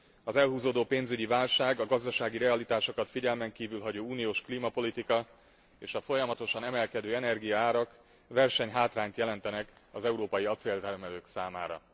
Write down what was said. Az elhúzódó pénzügyi válság, a gazdasági realitásokat figyelmen kívül hagyó uniós klímapolitika és a folyamatosan emelkedő energiaárak versenyhátrányt jelentenek az európai acéltermelők számára.